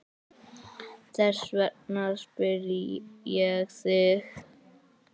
Þess vegna spyr ég þig.